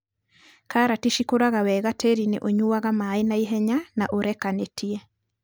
Karati cĩkũraga wega tĩrinĩ ũnyuaga maĩ naihenya na ũrekanĩtie.